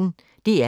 DR P1